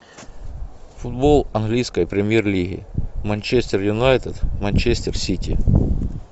футбол английской премьер лиги манчестер юнайтед манчестер сити